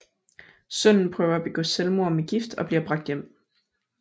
Sønnen prøver at begå selvmord med gift og bliver bragt hjem